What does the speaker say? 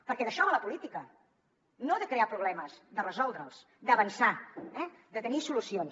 perquè d’això va la política no de crear problemes de resoldre’ls d’avançar de tenir solucions